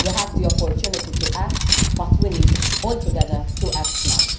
We have the opportunity to act, but we need all together to act now.